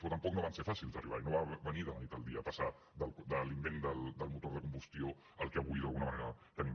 però tampoc no va ser fàcil d’arribar hi no va venir de la nit al dia passar de l’invent del motor de combustió al que avui d’alguna manera tenim